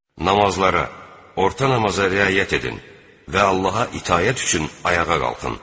Namazlara, orta namaza riayət edin və Allaha itaət üçün ayağa qalxın.